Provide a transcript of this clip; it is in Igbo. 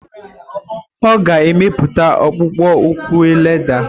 Ọ ga emepụta akpụkpọ ụkwụ lédà.